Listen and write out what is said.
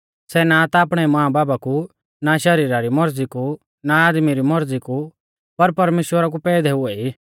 सै ना ता आपणै मांबाबा कु ना शरीरा री मौरज़ी कु ना आदमी री मौरज़ी कु पर परमेश्‍वरा कु पैदै हुऐ ई